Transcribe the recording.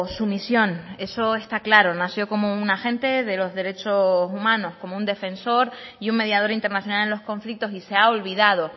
su misión eso está claro nació como un agente de los derechos humanos como un defensor y un mediador internacional en los conflictos y se ha olvidado